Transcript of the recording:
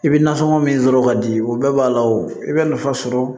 I bɛ nasɔngɔ min sɔrɔ ka di o bɛɛ b'a la o bɛ nafa sɔrɔ